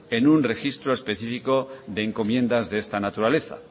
en un registro específico de encomiendas de esta naturaleza